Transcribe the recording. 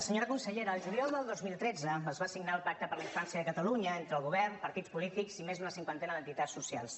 senyora consellera al juliol del dos mil tretze es va signar el pacte per a la infància de catalunya entre el govern els partits polítics i més d’una cinquantena d’entitats socials